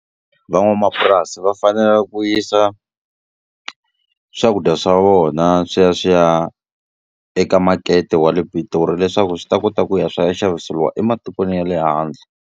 Van'wamapurasi va fanela ku yisa swakudya swa vona swi ya swi ya eka makete wa le Pitori leswaku swi ta kota ku ya swa ya xaviseliwa ematikweni ya le handle.